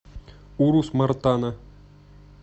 урус мартана